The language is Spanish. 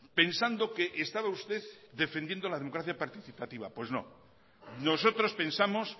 pensando que estaba usted defendiendo la democracia participativa pues no nosotros pensamos